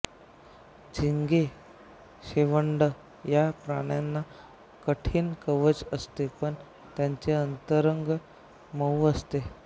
झिंगे शेवंड या प्राण्यांना कठीण कवच असते पण त्यांचे अंतरंग मऊ असते